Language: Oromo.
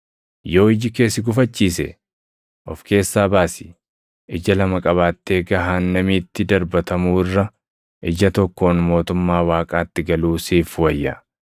Yoo iji kee si gufachiise, of keessaa baasi. Ija lama qabaattee gahaannamiitti darbatamuu irra ija tokkoon mootummaa Waaqaatti galuu siif wayya.